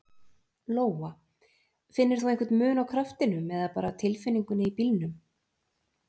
Lóa: Finnur þú einhver mun á kraftinum eða bara tilfinningunni í bílnum?